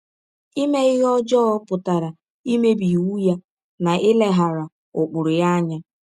Ime ihe ọjọọ pụtara imebi iwụ ya na ileghara ụkpụrụ ya anya.